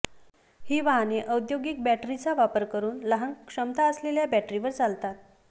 ही वाहने औद्योगिक बॅटरीचा वापर करून लहान क्षमता असलेल्या बॅटरीवर चालतात